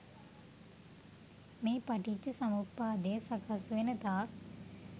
මේ පටිච්ච සමුප්පාදය සකස් වෙනතාක්